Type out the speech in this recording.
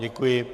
Děkuji.